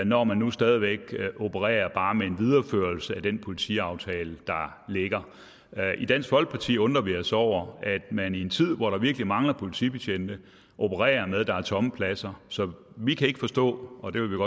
når man nu stadig væk opererer bare med en videreførelse af den politiaftale der ligger i dansk folkeparti undrer vi os over at man i en tid hvor der virkelig mangler politibetjente opererer med at der er tomme pladser så vi kan ikke forstå og det vil